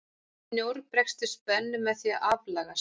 Snjór bregst við spennu með því að aflagast.